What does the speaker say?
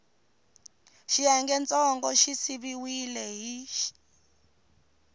xiyengentsongo xi siviwile hi x